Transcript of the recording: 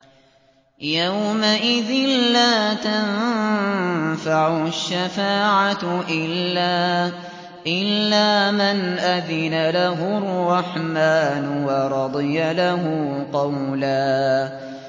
يَوْمَئِذٍ لَّا تَنفَعُ الشَّفَاعَةُ إِلَّا مَنْ أَذِنَ لَهُ الرَّحْمَٰنُ وَرَضِيَ لَهُ قَوْلًا